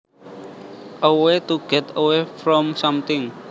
A way to get away from something